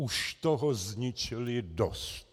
Už toho zničili dost.